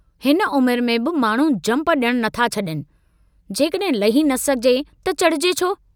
हिन उम्र में बि माण्हू झंप डियणु नथा छडीनि, जेकडहिं लही न सघिजे त चढ़िजे छो?